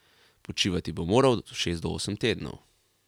Počivati bo moral od šest do osem tednov.